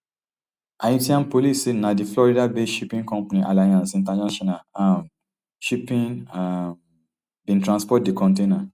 haitian police say na di floridabased shipping company alliance international um shipping um bin transport di container